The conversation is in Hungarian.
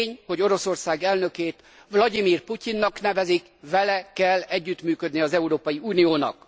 De tény, hogy Oroszország elnökét Vlagyimir Putyinnak nevezik, vele kell együttműködni az Európai Uniónak!